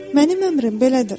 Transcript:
Mənim əmrim belədir.